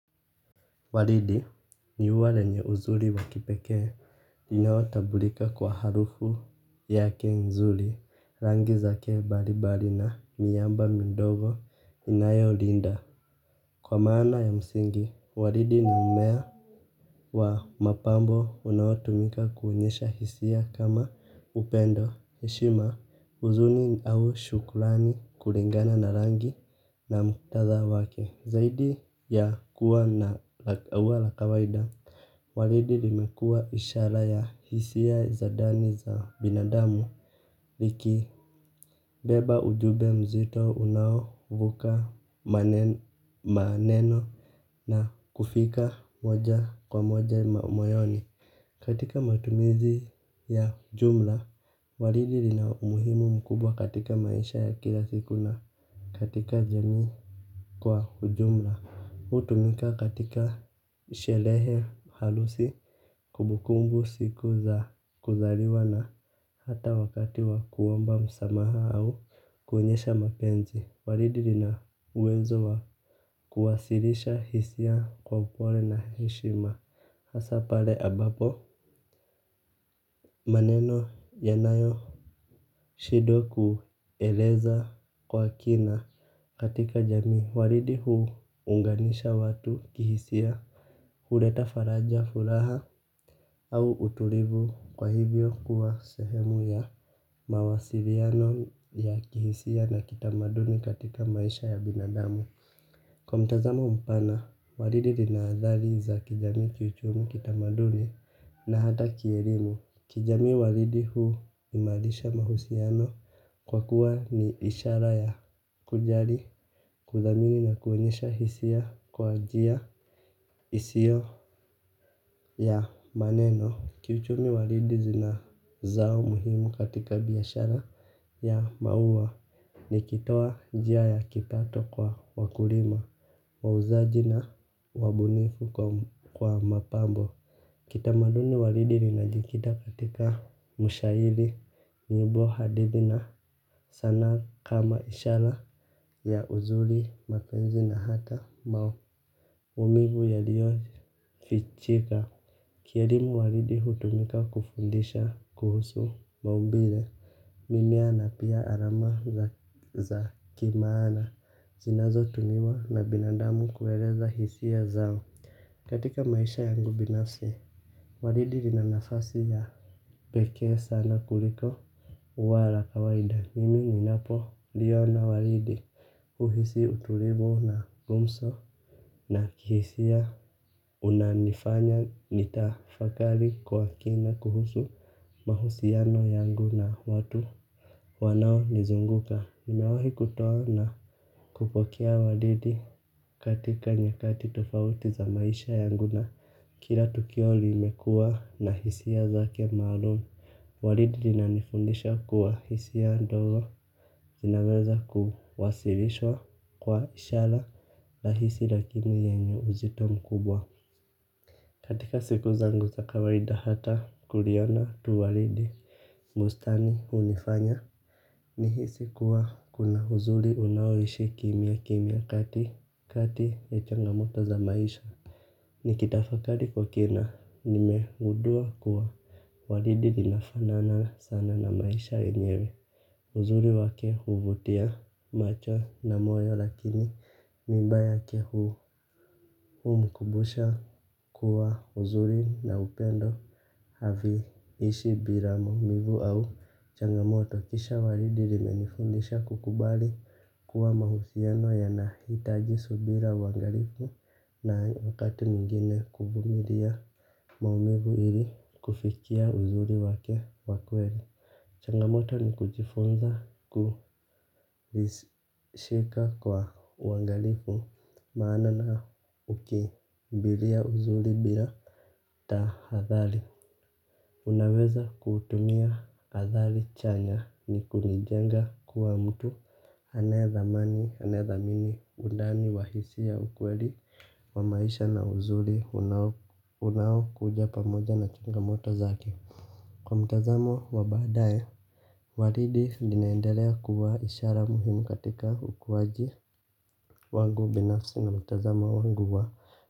Walidi ni uwa lenye uzuri wa kipekee, ninaotabulika kwa harufu yake nzuri, rangi zake bari bari na miamba mindogo inayolinda. Kwa maana ya msingi, walidi ni mmea wa mapambo unaotumika kuonyesha hisia kama upendo. Heshima huzuni au shukrani kulingana na rangi na muktadha wake. Zaidi ya kuwa na wa la kawaida walidi limekua ishara ya hisia za dani za binadamu. Likibeba ujube mzito unaovuka maneno na kufika moja kwa moja moyoni. Katika matumizi ya jumla, walidi rina umuhimu mkubwa katika maisha ya kila siku na katika jamii kwa jumla hutumika katika shelehe harusi kumbukumbu siku za kuzaliwa na hata wakati wa kuomba msamaha au kuonyesha mapenzi. Waridi lina uwezo wa kuwasirisha hisia kwa upole na heshima. Hasa pale ambapo maneno yanayoshidwa kueleza kwa kina katika jamii walidi huunganisha watu kihisia. Huleta faraja furaha au utulivu, kwa hivyo kuwa sehemu ya mawasiliano ya kihisia na kitamaduni katika maisha ya binadamu kwa mtazamo mpana waridi lina athari za kijamii kiuchumi kitamaduni na hata kierimu. Kijamii walidi huimalisha mahusiano kwa kuwa ni ishara ya kujari, kuthamini na kuonyesha hisia kwa njia isiyo ya maneno. Kiuchumi walidi zina zao muhimu katika biashara ya maua nikitoa njia ya kipato kwa wakulima, wauzaji na wabunifu kwa mapambo. Kitamaduni waridi linajikita katika ushairi nyimbo hadithi na sanaa kama ishara ya uzuri mapenzi na hata umivu yaliyofichika. Kierimu walidi hutumika kufundisha kuhusu maumbire mimea na pia arama za za kimaana. Zinazotumiwa na binadamu kueleza hisia zao katika maisha yangu binafsi walidi lina nafasi ya pekee sana kuliko ua la kawaida. Mimi ninapoliya na walidi. Uhisi uturivu na gumso. Na kihisia unanifanya nitafakali kwa kina kuhusu mahusiano yangu na watu wanaonizunguka nimewahi kutoa na kupokea walidi katika nyakati tofauti za maisha yangu na kila tukio limekua na hisia zake maalum. Walidi linanifundisha kuwa hisia ndo zinaweza kuwasilishwa kwa ishala lahisi lakini yenye uzito mkubwa. Katika siku zangu za kawaida hata kuliona tu walidi bustani hunifanya nihisi kuwa kuna uzuli unaoishi kimya kimya kati kati ya changamoto za maisha nikitafakari kwa kina nimegundua kuwa waridi linafanana sana na maisha yake. Uzuri wake huvutia macho na moyo lakini miba yake humkubusha kuwa uzuri na upendo haviishi bira maumivu au changamoto kisha walidi rimenifundisha kukubali kuwa mahusiano yanahitaji subira uangarifu na wakati mwingine kuvumiria maumivu ili kufikia uzuri wake wa kweli. Changamoto ni kujifunza kuishika kwa uangalifu maana na hukimbilia uzuri bila tahadhali unaweza kutumia athari chanya ni kunijenga kuwa mtu anayethamini undani wa hisia ukweli wa maisha na uzuri unao unaokuja pamoja na changamoto zake. Kwa mtazamo wa baadaye, walidi linaendelea kuwa ishara muhimu katika ukuwaji wangu binafsi na mtazamo wangu wa.